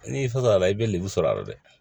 N'i fasola i bɛ lemuru sɔrɔ a la dɛ